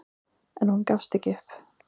En hún gafst ekki upp.